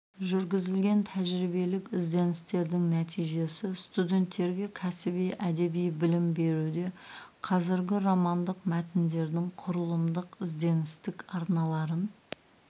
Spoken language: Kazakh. жүргізілген тәжірибелік ізденістердің нәтижесі студенттерге кәсіби әдеби білім беруде қазіргі романдық мәтіндердің құрылымдық ізденістік арналарын